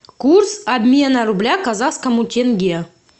курс обмена рубля к казахскому тенге